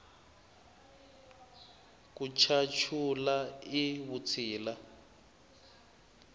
ku chachula i vutshila